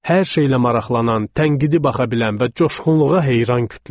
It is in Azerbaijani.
Hər şeylə maraqlanan, tənqidi baxa bilən və coşğunluğa heyran kütlə.